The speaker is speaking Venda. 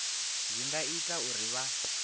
zwi nga ita uri vha